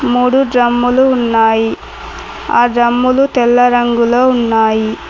మూడు డ్రమ్ములు ఉన్నాయి ఆ డ్రమ్ములు తెల్ల రంగులో ఉన్నాయి.